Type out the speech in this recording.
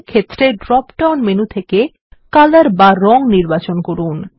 feel ক্ষেত্রে drop down menu থেকে colour বা রঙ নির্বাচন করুন